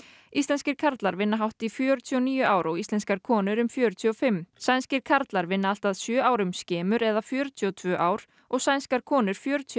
íslenskir karlar vinna hátt í fjörutíu og níu ár og íslenskar konur um fjörutíu og fimm sænskir karlar vinna allt að sjö árum skemur eða fjörutíu og tvö ár og sænskar konur fjörutíu